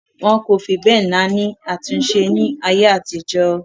Wọn kò fi bẹ́ẹ̀ náání àtúnṣe ní ayé àtijó.